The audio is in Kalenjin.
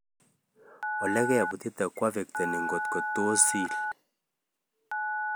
Olikeputite koaffectani ngotkotos iil